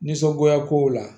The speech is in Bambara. Nisɔngoya kow la